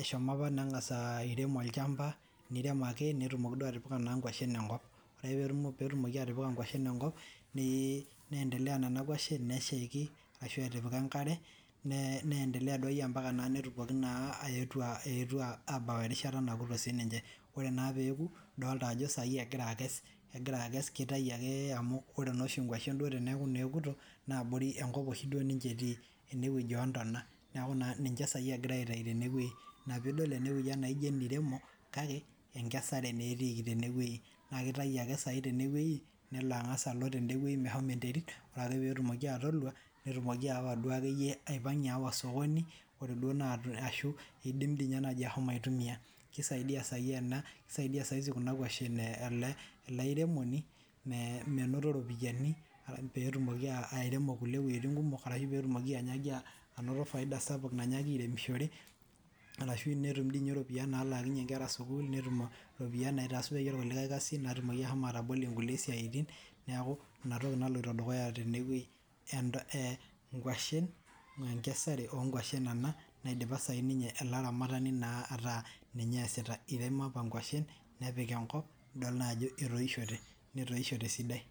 eshomo apa nengas airem olchamba nirem ake netumoki duo atipika inkushen enkop ore ake pee etumoki atipika inkushen enkop niendeleya nena nkuashen neshaki ashu etipika enkare niendeleya duo akeyie mpaka netumoki naa aetu abau erishita nayetuo aaku sininche ore naa pee eeku idolita ajo sai egira aikes kitayu ake amu ore naa oshi nkuashen teneaku duo enkuto naa abori enkop oshi ninche etii ene wueji ootona neaku ninche sai egirae aitayu tene wueji ina pii idol enewueji naajio eneiremo kake ekesare naa etiiki tene wueji naa kitayu ake sai tene wueji nelo angas alo alua tede meshomo enterit ore ake pee etumoki atolua netumoki aawa duakeyie awa osokoni ashu idim dii naaji ashomo aitumia kisaidia sai ena kisaidia saisi kuna nkuashen ele airemoni menoto ropiyani pee tumoki airemo weujitin kumok ashu peetumoki anoto faida sapuk naitoki airemishore arashu etum dii ninye ropiyani nalaakinye nkera sukuul netum iropiyani naasaie kulie siaitin kumok pee etumoki ashomo atabolo kulie siaitin neaku ina toki naloito dukuya tene wueji eh nkuashen ekesare oo nkuashen ena eidipa sai ninye ele aramatani naa ataa ninye easita iremo apa nkuashen nepik enkop nidol naa ajo etoishote netoishote esidai.